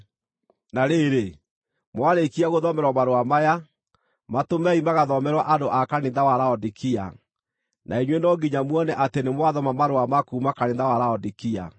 Na rĩrĩ, mwarĩkia gũthomerwo marũa maya, matũmei magathomerwo andũ a kanitha wa Laodikia, na inyuĩ no nginya muone atĩ nĩmwathoma marũa ma kuuma kanitha wa Laodikia.